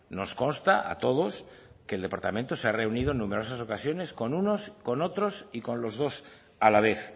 nos consta a todos que el departamento se ha reunido en numerosas ocasiones con unos con otros y con los dos a la vez